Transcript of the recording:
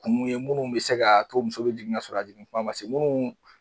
Kun ye munnu be se ka to u musow be jigin ka sɔrɔ a jigin tuma ma se munnu.